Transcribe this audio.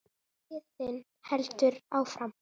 Biðin heldur áfram.